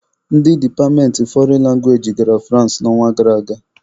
Ndị departmentị fọrịn langwaeji gara Fụransị n'ọnwa gara aga.